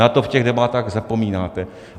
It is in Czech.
Na to v těch debatách zapomínáte.